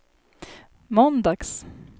måndags